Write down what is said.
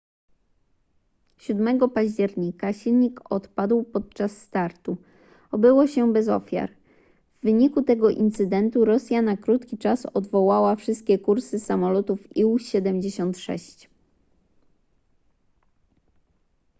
7 października silnik odpadł podczas startu obyło się bez ofiar w wyniku tego incydentu rosja na krótki czas odwołała wszystkie kursy samolotów ił-76